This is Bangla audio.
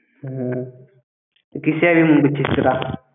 হ্যাঁ। ।